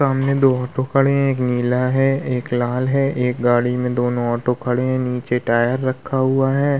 सामने दो ऑटो खड़े हैं एक नीला है एक लाल है एक गाड़ी में दोनों ऑटो खड़े हैं नीचे टायर रखा हुआ है।